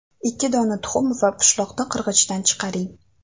Ikki dona tuxum va pishloqni qirg‘ichdan chiqaring.